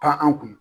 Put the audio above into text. Taa an kun